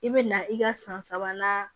I bɛ na i ka san sabanan